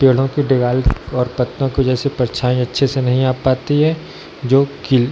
पेड़ो की डेगाल और पतों को जैसे परछाई अच्छे से नही आ पाती है जो कील --